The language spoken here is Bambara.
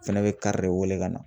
Fɛnɛ bɛ kari de wele ka na